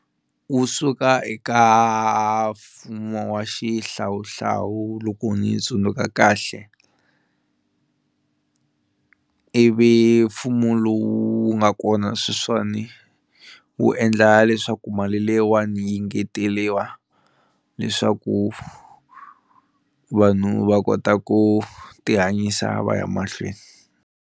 Wu suka eka mfumo wa xihlawuhlawu loko ndzi tsundzuka kahle, ivi mfumo lowu nga kona sweswiwani wu endla leswaku mali leyiwani yi engeteliwa leswaku vanhu va kota ku ti hanyisa va ya mahlweni.